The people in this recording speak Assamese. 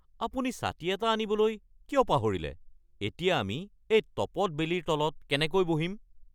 আপুনি ছাতি এটা আনিবলৈ কিয় পাহৰিলে? এতিয়া আমি এই তপত বেলিৰ তলত কেনেকৈ বহিম?